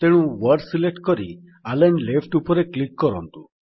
ତେଣୁ word select କରି align left ଉପରେ କ୍ଲିକ୍ କରନ୍ତୁ